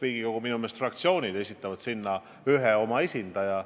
Riigikogu fraktsioonid esitavad ühe oma esindaja.